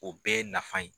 O bɛɛ ye nafa ye